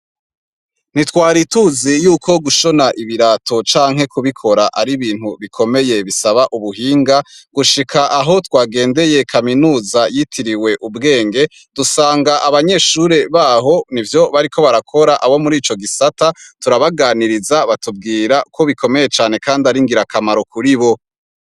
Ntitwari tuzi yuko gushona ibirato canke kubikora ari ibintu bikomeye bisaba ubuhinga, gushika gushika aho twagengeye kaminuza yitiriwe ubwenge, dusanga abanyeshure baho nivyo bariko barakora abo muri ico gisata, turabaganiriza batubwira ko bikomeye cane kandi ari ngirakamaro kuri bo.